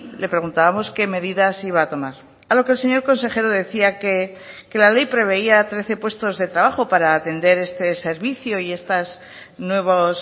le preguntábamos qué medidas iba a tomar a lo que el señor consejero decía que la ley preveía trece puestos de trabajo para atender este servicio y estas nuevos